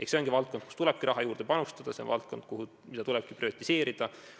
See on valdkond, kuhu tulebki raha juurde anda, see on valdkond, mida tulebki prioritiseerida.